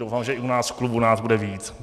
Doufám, že i u nás v klubu nás bude víc.